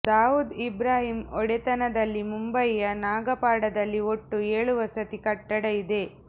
ದಾವೂದ್ ಇಬ್ರಾಹಿಂ ಒಡೆತನದಲ್ಲಿ ಮುಂಬಯಿಯ ನಾಗಪಾಡದಲ್ಲಿ ಒಟ್ಟು ಏಳು ವಸತಿ ಕಟ್ಟಡ ಇದೆ